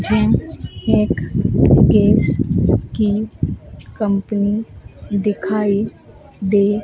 and एक cakes की नकंपनी दिखाई दे--